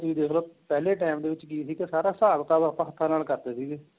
ਜਿਵੇਂ ਤੁਸੀਂ ਦੇਖਲੋ ਪਹਿਲੇ time ਦੇ ਵਿੱਚ ਕਿ ਸੀਗਾ ਸਾਰਾ ਹਿਸਾਬ ਕਿਤਾਬ ਆਪਾਂ ਹੱਥਾ ਨਾਲ ਕਰਦੇ ਸੀਗੇ